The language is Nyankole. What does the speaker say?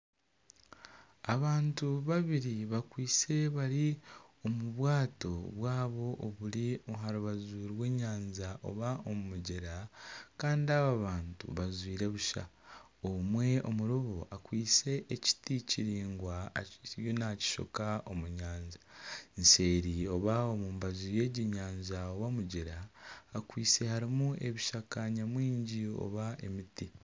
Abantu babiri bakwaitse bari omu bwato bwabo oburi aha rubaju rw'enyanja oba omu mugyera kandi aba bantu bajwaire busha. Omwe Omuri bo akwaitse ekiti kiraingwa ariyo naakishoka omu nyanja. Nseeri oba omu mbaju y'egi nyanja oba omugyera hakwaitse harimu ebishaka nyamwingi oba emiti.